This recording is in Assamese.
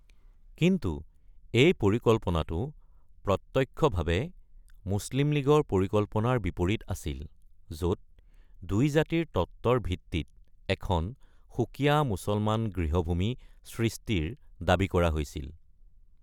কিন্তু এই পৰিকল্পনাটো প্ৰত্যক্ষভাৱে মুছলিম লীগৰ পৰিকল্পনাৰ বিপৰীত আছিল, য’ত দুই-জাতিৰ তত্ত্বৰ ভিত্তিত এখন সুকীয়া মুছলমান গৃহভূমি সৃষ্টিৰ দাবী কৰা হৈছিল।